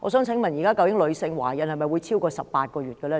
請問現時女性的懷孕期是否超過18個月呢？